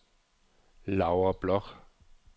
Laura Bloch